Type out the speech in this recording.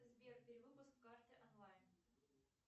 сбер перевыпуск карты онлайн